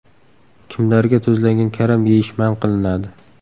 Kimlarga tuzlangan karam yeyish man qilinadi?